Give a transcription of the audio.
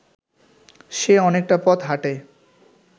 সে অনেকটা পথ হাঁটে